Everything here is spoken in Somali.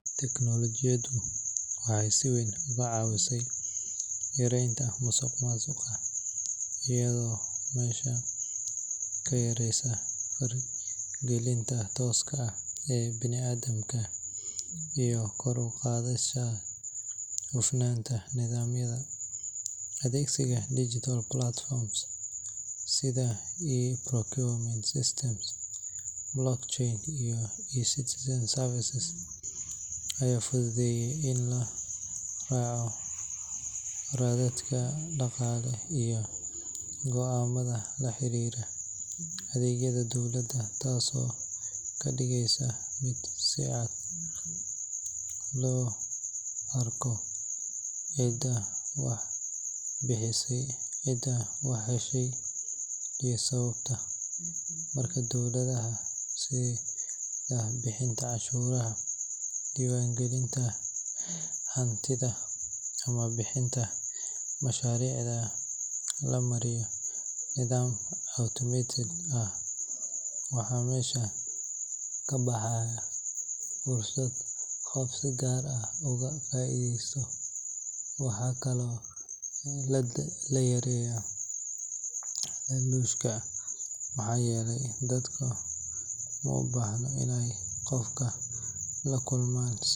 Tiknoolajiyadu waxay si weyn uga caawisaa yareynta musuqmaasuqa iyadoo meesha ka saaraysa faragelinta tooska ah ee bani’aadamka iyo kor u qaadaysa hufnaanta nidaamyada. Adeegsiga digital platforms sida e-procurement systems, blockchain, iyo e-citizen services ayaa fududeeyay in la raaco raadadka dhaqaale iyo go’aamada la xiriira adeegyada dowladda, taasoo ka dhigaysa mid si cad loo arkayo cidda wax bixisay, cidda wax heshay iyo sababta. Marka hawlaha sida bixinta canshuuraha, diiwaangelinta hantida ama bixinta mushaaraadka la mariyo nidaam automated ah, waxaa meesha ka baxa fursad qof si gaar ah uga faa’iideysto. Waxaa kaloo la yareeyaa laaluushka maxaa yeelay dadku uma baahna inay qof la kulmaan si.